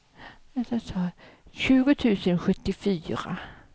tjugo tusen sjuttiofyra